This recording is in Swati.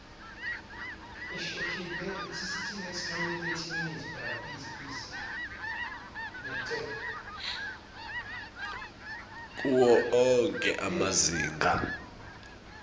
kuwo onkhe emazinga